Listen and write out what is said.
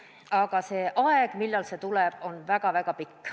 Aga see aeg, millal see tuleb, on väga-väga pikk.